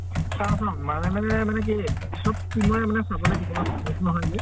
চাও চাও, মাজে মাজে মানে কি চব team ৰে মানে চাব লাগিব ন ন্হয় যে।